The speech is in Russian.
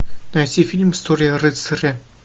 найти фильм история рыцаря